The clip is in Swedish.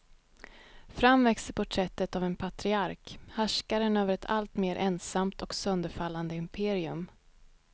Fram växer porträttet av en patriark, härskaren över ett alltmer ensamt och sönderfallande imperium.